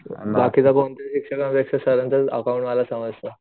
बाकीचा सरांचच अकॉउंट मला समजत.